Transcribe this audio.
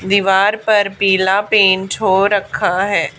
दीवार पर पीला पेंट हो रखा है।